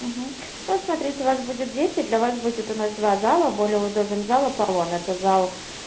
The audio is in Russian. угу ну вот смотрите вас будет десят для вас будет у нас два зала более удобен зал аполлон это зал